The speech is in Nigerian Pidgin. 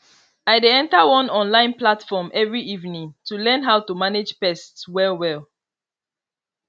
i dey enter one online platform every evening to learn how to manage pest well well